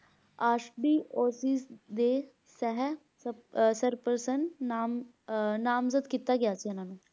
ਸ੍ਰਪਸਨ ਨਾਮਗਤ ਕੀਤਾ ਗਿਆ ਸੀ ਓਹਨਾ ਨੂੰ